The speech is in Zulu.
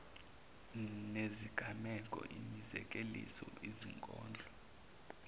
nezinganeko imizekeliso izinkondlo